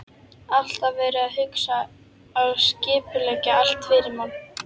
Alltaf verið að hugsa og skipuleggja allt fyrir mann.